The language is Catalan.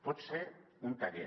pot ser un taller